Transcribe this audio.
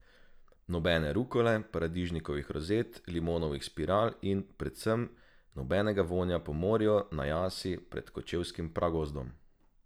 Nobene rukole, paradižnikovih rozet, limonovih spiral in, predvsem, nobenega vonja po morju na jasi pred kočevskim pragozdom!